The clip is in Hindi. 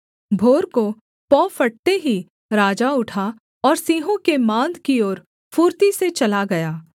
भोर को पौ फटते ही राजा उठा और सिंहों के माँद की ओर फुर्ती से चला गया